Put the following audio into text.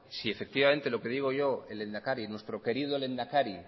si efectivamente lo que digo yo el lehendakari nuestro querido lehendakari